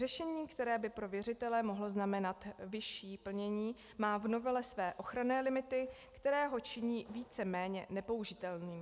Řešení, které by pro věřitele mohlo znamenat vyšší plnění, má v novele své ochranné limity, které ho činí víceméně nepoužitelným.